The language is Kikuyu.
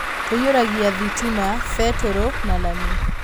"Tũiyũragia thitima, betũrũ, na lami.